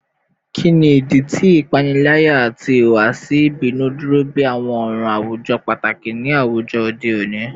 Kini idi ti ipanilaya ati ihuwasi ibinu duro bi awọn ọran awujọ pataki ni awujọ ode oni?